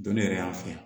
Don ne yɛrɛ y'an fɛ